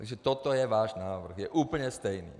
Takže toto je váš návrh, je úplně stejný.